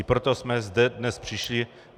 I proto jsme sem dnes přišli.